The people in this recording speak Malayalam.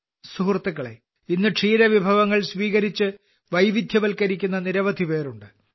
സുഹൃത്തുക്കളേ ഇന്ന് ക്ഷീരവിഭവങ്ങൾ സ്വീകരിച്ച് വൈവിധ്യവൽക്കരിക്കുന്ന നിരവധിപേരുണ്ട്